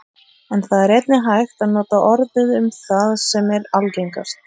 En það er einnig hægt að nota orðið um það sem er algengast.